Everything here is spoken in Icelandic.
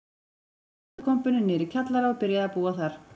Stakk út úr ruslakompunni niðri í kjallara og byrjaði að búa þar.